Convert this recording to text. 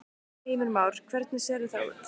Heimir Már: Hvernig sérðu það út?